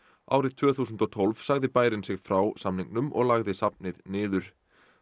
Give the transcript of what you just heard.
árið tvö þúsund og tólf sagði bærinn sig frá samningnum og lagði safnið niður